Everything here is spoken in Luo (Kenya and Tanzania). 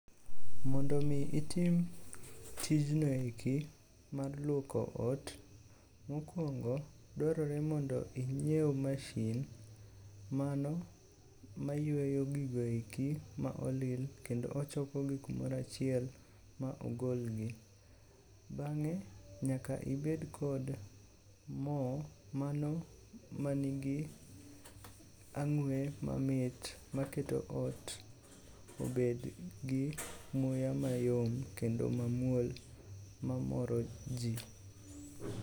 Mondo omi itim tijno eki mar lwoko ot, mokwongo dwarore mondo inyiew mashin mano mayweyo gigo eki ma olil kendo ochokogi kumoro achiel ma ogolgi. Bang'e nyaka ibed kod mo mano manigi ang'we mamit maketo ot obedgi muya mayom kendo mamuol mamoro ji.